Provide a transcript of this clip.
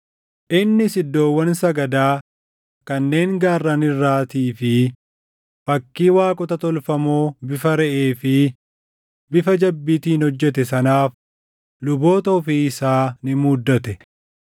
Innis iddoowwan sagadaa kanneen gaarran irraatii fi fakkii waaqota tolfamoo bifa reʼee fi bifa jabbiitiin hojjete sanaaf luboota ofii isaa ni muuddate.